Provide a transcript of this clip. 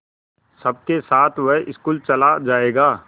सबके साथ वह स्कूल चला जायेगा